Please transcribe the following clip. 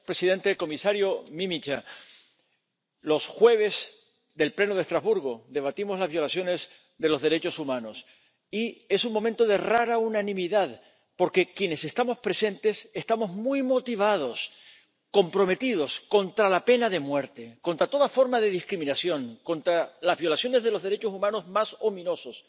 Señor presidente, comisario Mimica, los jueves del Pleno de Estrasburgo debatimos las violaciones de los derechos humanos, y es un momento de rara unanimidad porque, quienes estamos presentes, estamos muy motivados comprometidos contra la pena de muerte, contra toda forma de discriminación, contra las violaciones de los derechos humanos más ominosas...